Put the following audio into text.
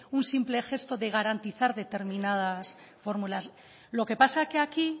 un simple gesto de garantizar determinadas fórmulas lo que pasa que aquí